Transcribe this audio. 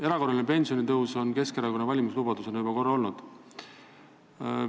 Erakorraline pensionitõus on Keskerakonna valimislubadusena juba korra olnud.